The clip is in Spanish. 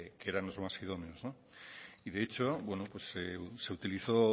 que eran los más idóneos de hecho se utilizó